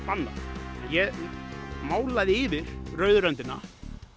bannað ég málaði yfir rauðu röndina